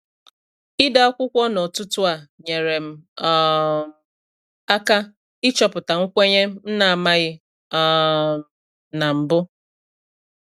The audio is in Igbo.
Ide akwụkwọ n’ụtụtụ a nyere m um aka ịchọpụta nkwenye m na-amaghị um na m bu.